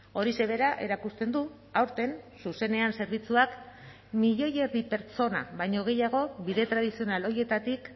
horixe bera erakusten du aurten zuzenean zerbitzuak milioi erdi pertsona baino gehiago bide tradizional horietatik